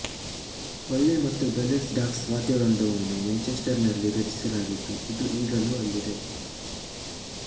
Polly ಮತ್ತು Billets Doux ವಾದ್ಯವೃಂದವನ್ನು Winchester ನಲ್ಲಿ ರಚಿಸಲಾಗಿದ್ದು ಇದು ಈಗಲೂ ಅಲ್ಲಿದೆ